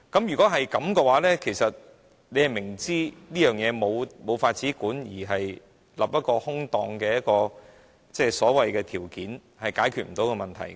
若然如此，你明知這事無法規管，反而訂立一個空洞的所謂條件，是解決不到問題的。